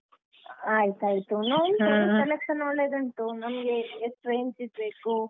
ಆಯ್ತಾಯ್ತು selection ಒಳ್ಳೆದುಂಟು ನಮ್ಗೆ ಎಷ್ಟ್ range ದ್‌ ಬೇಕು.